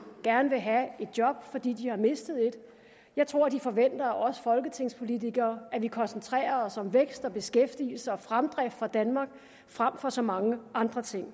gerne vil have et job fordi de har mistet et jeg tror de forventer af os folketingspolitikere at vi koncentrerer os om vækst beskæftigelse og fremdrift for danmark frem for så mange andre ting